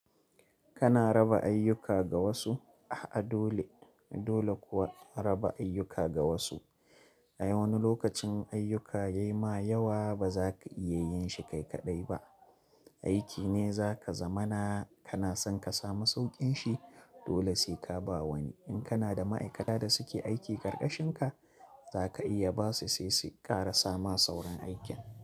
Kana raba ayyuka ga wasu, ah dole dole kuwa raba ayyuka ga wasu. Ai wani lokacin ayyuka yai ma yawa ba za ka iya yin shi kai kaɗai ba. Aiki ne za ka zamana kana son ka samu sauƙin shi dole sai ka ba wani. In kana da ma'aikata da suke aiki ƙarƙashin ka, za ka iya ba su sai su ƙara sama sauran aikin.